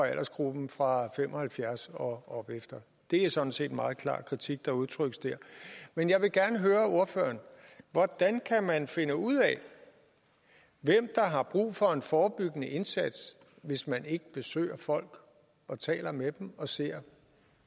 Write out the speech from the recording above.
aldersgruppen fra fem og halvfjerds år og opefter det er sådan set en meget klar kritik der udtrykkes der men jeg vil gerne høre ordføreren hvordan kan man finde ud af hvem der har brug for en forebyggende indsats hvis man ikke besøger folk taler med dem ser